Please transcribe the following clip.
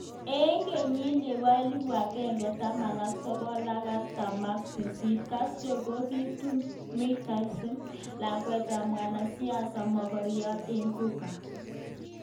Ik ngenyit nebo elibut akenge taman ak sogol ak artaman ak sisit Castro kokitun Mirtta Diaz-Balart, lakwet ab mwanasiasa magariot ik Cuba.